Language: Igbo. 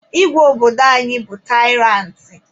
Igwe obodo anyị bụ taịrantị.